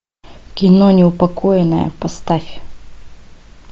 кино неупокоенная поставь